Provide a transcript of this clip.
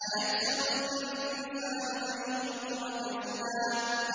أَيَحْسَبُ الْإِنسَانُ أَن يُتْرَكَ سُدًى